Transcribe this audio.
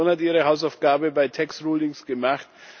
Die Kommission hat ihre Hausaufgabe bei den Tax Rulings gemacht.